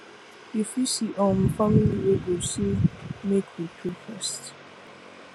you fit see um family wey go say make we pray first